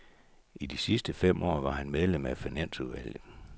I de sidste fem år var han medlem af finansudvalget.